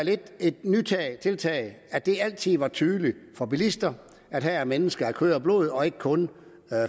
et nyt tiltag at det altid var tydeligt for bilister at her er mennesker af kød og blod og ikke kun